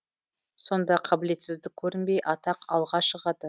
сонда қабілетсіздік көрінбей атақ алға шығады